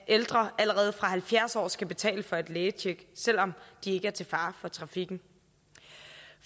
ældre allerede fra de halvfjerds år skal betale for et lægetjek selv om de ikke er til fare for trafikken